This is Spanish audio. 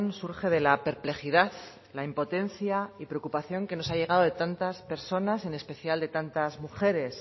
surge de la perplejidad la impotencia y preocupación que nos ha llegado de tantas personas en especial de tantas mujeres